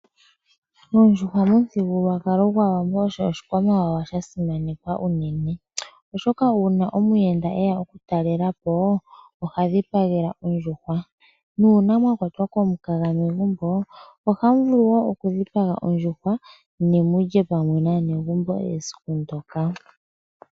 Ondjuhwa momuthigululwakalo gwAawambo osho oshikwamawawa sha simanekwa unene. UUna pwe ya omuyenda, oha dhipagelwa ondjuha, nuuna mwa kwatwa komukaga megumbo ohamu vulu oku dhipaga ondjuhwa mu lye naanegumbo esiku ndyoka.